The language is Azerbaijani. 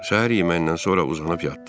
Səhər yeməyindən sonra uzanıb yatdıq.